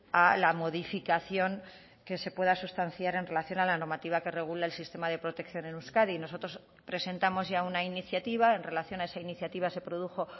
a la modificación que se pueda sustanciar en relación a la normativa que regula el sistema de protección en euskadi nosotros presentamos ya una iniciativa en relación a esa iniciativa se produjo